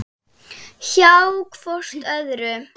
Hjá hvort öðru.